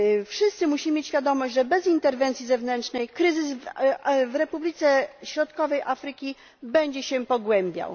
Wszyscy musimy mieć świadomość, że bez interwencji zewnętrznej kryzys w Republice Środkowej Afryki będzie się pogłębiał.